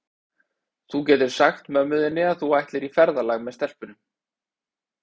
Þú getur sagt mömmu þinni að þú ætlir í ferðalag með stelpunum.